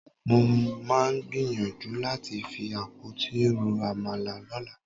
Mo máa gbìyànjú láti fi àpótí ro àmàlà lọ́la.